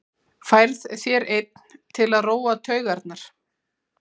Færð þér einn til að róa taugarnar.